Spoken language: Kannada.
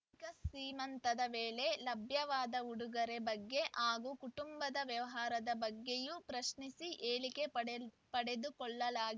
ಕಾ ಸೀಮಂತದ ವೇಳೆ ಲಭ್ಯವಾದ ಉಡುಗೊರೆ ಬಗ್ಗೆ ಹಾಗೂ ಕುಟುಂಬದ ವ್ಯವಹಾರದ ಬಗ್ಗೆಯೂ ಪ್ರಶ್ನಿಸಿ ಹೇಳಿಕೆ ಪಡೆದುಕೊಳ್ಳಲಾಗಿ